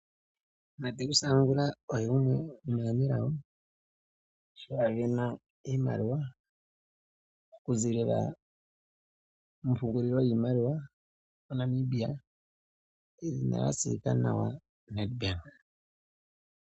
Mateus Angula oye gumwe gwomaanelago, ngoka a sindana iimaliwa okuziilila mompungulilo yiimaliwa MoNamibia, yedhina lya tseyika nawa Nedbank.